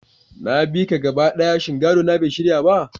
Na biya ka gaba ɗaya, shin gadona bai shirya ba?